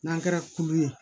N'an kɛra kulu ye